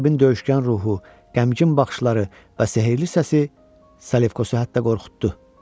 Qəribin döyüşgən ruhu, qəmgin baxışları və sehirli səsi Selevkosu hətta qorxutdu.